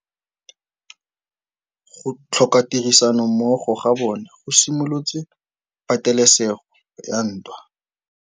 Go tlhoka tirsanommogo ga bone go simolotse patêlêsêgô ya ntwa.